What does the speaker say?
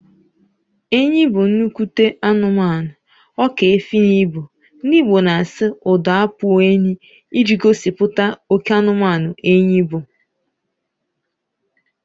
Enyi bụ nnukwu anụmanụ, ọka efi na ibu, ndị Igbo na asị 'ụdọ akpụ enyi' iji gosipụta oké anụmanụ enyi bụ